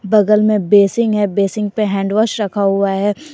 बगल में बेसिंग है बेसिंग पर हैंडवाश रखा हुआ है।